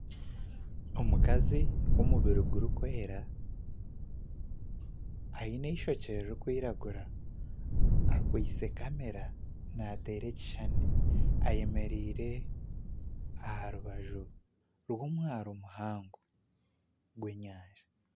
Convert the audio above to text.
Omukazi w'omubiri gurikwera aine ishookye ririkwiragura akwistye kamera nateera ekishuushani ayemereire aharubaju rw'omwaaro muhango gw'enyanja.